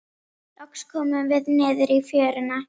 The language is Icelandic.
Loks komum við niður í fjöruna.